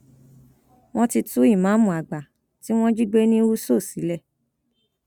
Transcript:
wọn ti tú ìmáàmù àgbà tí wọn jí gbé ní úso sílẹ